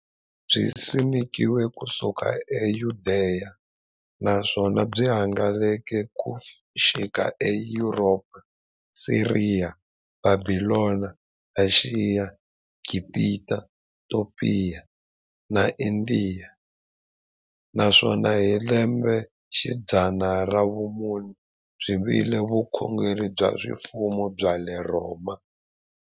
Byisimekiwe ku suka e Yudeya, naswona byi hangalake ku xika e Yuropa, Siriya, Bhabhilona, Ashiya, Gibhita, Topiya na Indiya, naswona hi lembexidzana ra vumune byi vile vukhongeri bya ximfumo bya le Rhoma.